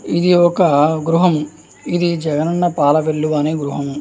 ఇది ఒక గృహము. ఇది జగన్ అన్న పాల వెలువు అనే గృహము.